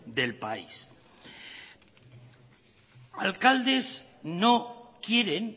del país alcaldes no quieren